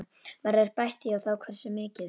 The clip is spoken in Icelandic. Verður bætt í og þá hversu miklu?